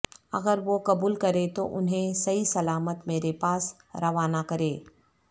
اگر وہ قبول کریں تو انہیں صحیح سلامت میرے پاس روانہ کرے